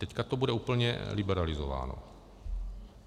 Teď to bude úplně liberalizováno.